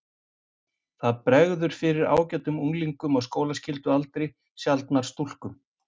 Það bregður fyrir ágætum unglingum á skólaskyldualdri, sjaldnar stúlkum.